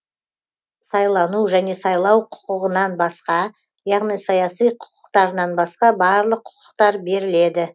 сайлану және сайлау құқығынан басқа яғни саяси құқықтарынан басқа барлық құқықтар беріледі